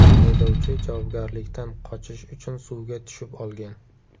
Haydovchi javobgarlikdan qochish uchun suvga tushib olgan.